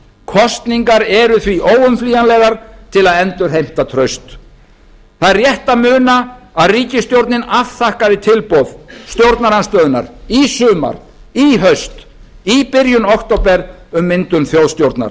kosningar eru því óumflýjanlegar til að endurheimta traust það er rétt að muna að ríkisstjórnin afþakkaði tilboð stjórnarandstöðunnar í sumar í haust í byrjun október um myndun þjóðstjórnar